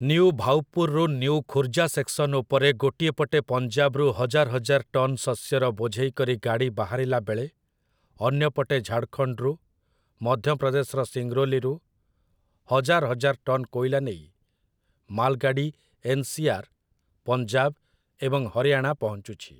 New Bhaupur ରୁ new Khurja section ଉପରେ ଗୋଟିଏ ପଟେ ପଞ୍ଜାବରୁ ହଜାର୍‌ ହଜାର୍‌ ଟନ୍ ଶସ୍ୟର ବୋଝେଇ କରି ଗାଡ଼ି ବାହାରିଲା ବେଳେ ଅନ୍ୟପଟେ ଝାଡଖଣ୍ଡରୁ, ମଧ୍ୟପ୍ରଦେଶର ସିଙ୍ଗରୋଲିରୁ ହଜାର୍‌ ହଜାର୍‌ ଟନ୍ କୋଇଲା ନେଇ ମାଲଗାଡ଼ି ଏନ୍‌.ସି.ଆର୍‌., ପଞ୍ଜାବ ଏବଂ ହରିୟାଣା ପହଞ୍ଚୁଛି ।